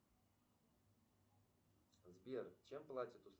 сбер чем платят